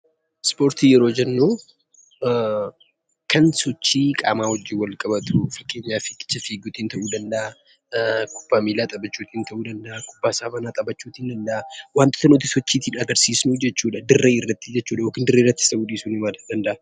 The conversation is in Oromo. Ispoortii yeroo jennu kan sochii qaama waliin wal qabatu fakkeenyaaf kubbaa miilaa, kubbaa saaphanaa, fiigicha ta'uu danda'a. Wantoota nuti dirree irratti yookiin dirreen ala sochii goonudha.